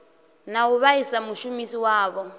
na u vhaisa mushumisi wawo